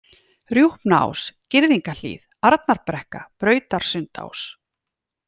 Rjúpnaás, Girðingahlíð, Arnarbrekka, Brautarsundsás